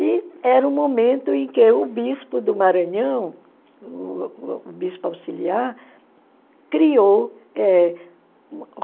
E era o momento em que o bispo do Maranhão, o o bispo auxiliar criou eh